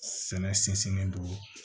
Sɛnɛ sinsinnen don